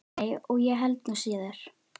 Nei, og ég held nú síður.